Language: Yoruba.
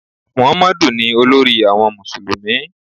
Mọ̀hámọ́dù ni olórí àwọn Mùsùlùmí.